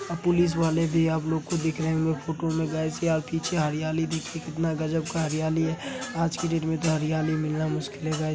Police वाले भी आप लोगों को दिख रहे होंगे फोटो में गाइज । यह पीछे हरियाली देखे कितना गजब का हरियाली है। आज की डेट मैं इतना हरियाली मिलना मुश्किल है गाइज --